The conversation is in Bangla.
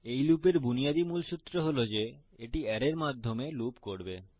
এই লুপের বুনিয়াদী মুলসুত্র হল যে এটি অ্যারের মানের মাধ্যমে লুপ করবে